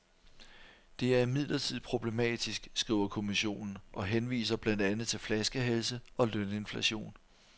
Det er imidlertid problematisk, skriver kommissionen og henviser blandt andet til flaskehalse og løninflation.